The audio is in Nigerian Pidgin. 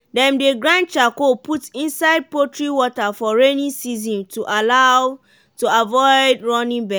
dem dey grind charcoal put inside poultry water for rainy season to avoid running belle